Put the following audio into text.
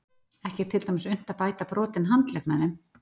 Ekki er til dæmis unnt að bæta brotinn handlegg með þeim.